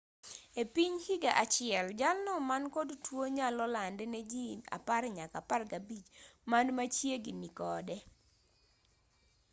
epiny higa achiel jalno mankod tuo nyalo lande ne jii 10 nyaka 15 man machiegini kode